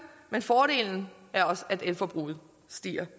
men fordelen er også at elforbruget stiger